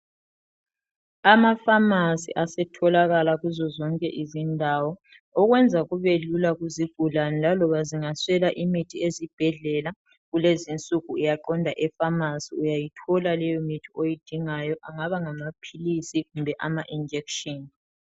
Amafamasi asetholakala kuzo zonke izindawo okwenza kube lula kuzigulane laloba zingazwela imithi ezibhedlela kulezi insuku uyaqonda efamasi uyayithola leyo mithi oyidingayo angaba ngamaphilisi Kumbe ama injection